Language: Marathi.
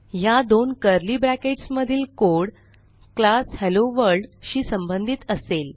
ह्या दोन कर्ली ब्रॅकेट्स मधीलcode क्लास हेलोवर्ल्ड शी संबंधित असेल